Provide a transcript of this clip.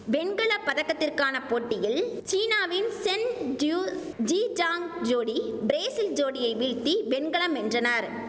வெண்கல பதக்கத்திற்கான போட்டியில் சீனாவின் சென் ஜியூ ஜி ஜாங் ஜோடி பிரேசில் ஜோடியை வீழ்த்தி வெண்கலம் வென்றனர்